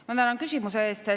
Ma tänan küsimuse eest.